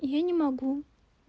я не могу